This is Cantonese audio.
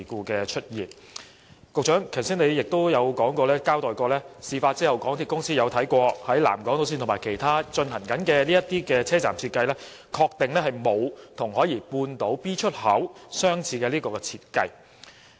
局長剛才亦交代過，港鐵公司在事發後曾檢視南港島線和其他正在進行的車站設計，確定沒有與海怡半島站 B 出口相似的設計。